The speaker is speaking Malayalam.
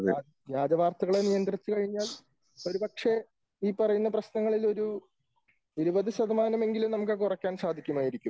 വ്യാജ വാർത്തകളെ നിയന്ത്രിച്ച് കഴിഞ്ഞാൽ ഒരു പക്ഷെ ഈ പറയുന്ന പ്രശ്നങ്ങളിൽ ഒരു 20 ശതമാനമെങ്കിലും നമുക്ക് കുറയ്ക്കാൻ സാധിക്കുമായിരിക്കും.